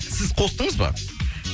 сіз қостыңыз ба